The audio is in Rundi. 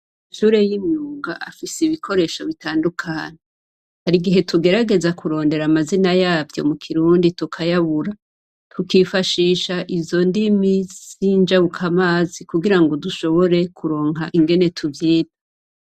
Amashure yimyuga afise ibikoresho bitandukanye ,harigihe tugerageza kurondera amazina yavyo mu Kirundi tukayabura tukifashisha izondimi zinjabukamazi kugira ngo dushobore kuronka ingene tuvyita.